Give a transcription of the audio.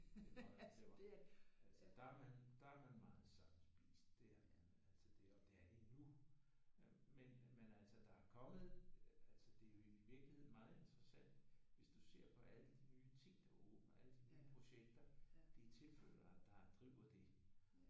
Det er meget altså der er man der er man meget sammenspist. Det er man altså. Og det er det endnu. Men men altså der er kommet altså det er i virkeligheden meget interessant hvis du ser på alle de nye ting der åbner. Alle de nye projekter. Det er tilflyttere der driver det